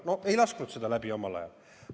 No ei lasknud seda taotlust omal ajal läbi.